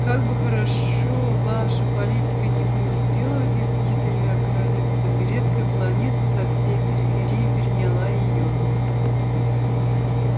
как бы хорошо ваша политика ни преуспела в деле с четырьмя королевствами редкая планета со всей периферии переняла её